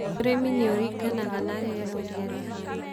ũrĩmĩ nĩuringanaga na riera uria rihana.